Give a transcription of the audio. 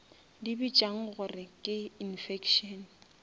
di bitšang gore ke infection